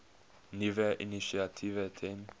nuwe initiatiewe ten